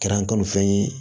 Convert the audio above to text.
Kɛra n kanufɛn ye